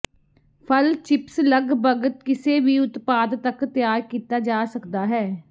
ਫਲ ਚਿਪਸ ਲੱਗਭਗ ਕਿਸੇ ਵੀ ਉਤਪਾਦ ਤੱਕ ਤਿਆਰ ਕੀਤਾ ਜਾ ਸਕਦਾ ਹੈ